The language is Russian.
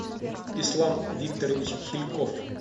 ислам викторович хильков